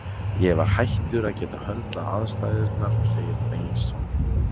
Ég var hættur að geta höndlað aðstæðurnar, segir Bengtsson.